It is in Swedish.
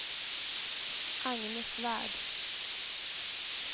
Agne Svärd